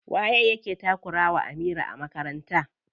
Waye yake takura wa Amira a makaranta?